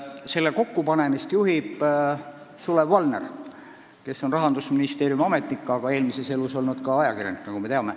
Selle kokkupanemist juhib Sulev Valner, kes on Rahandusministeeriumi ametnik, aga eelmises elus olnud ajakirjanik, nagu me teame.